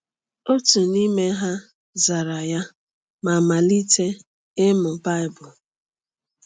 Otu n’ime ha zara ya ma malite ịmụ Baịbụl.